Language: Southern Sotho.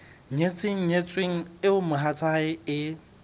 nyetseng nyetsweng eo mohatsae e